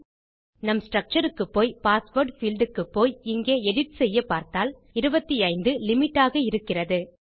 நம் ஸ்ட்ரக்சர் க்குப்போய் password field க்கு போய் இங்கே எடிட் செய்யப்பார்த்தால் 25 லிமிட் ஆக இருக்கிறது